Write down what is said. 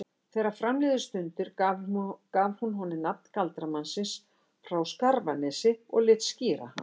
Þegar fram liðu stundir gaf hún honum nafn galdramannsins frá Skarfanesi og lét skíra hann